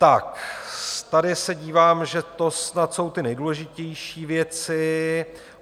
Tak tady se dívám, že to snad jsou ty nejdůležitější věci.